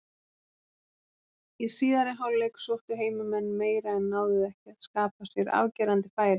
Í síðari hálfleik sóttu heimamenn meira en náðu ekki að skapa sér afgerandi færi.